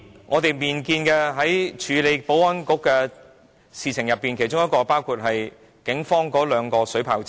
我們本年亦處理了有關保安局的議題，包括為警方購置兩輛水炮車。